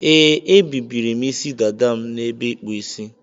Ee, ebibiri m Ịsị dada m na ebe ikpu Ịsị.